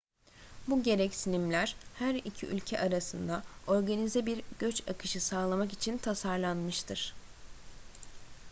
bu gereksinimler her iki ülke arasında organize bir göç akışı sağlamak için tasarlanmıştır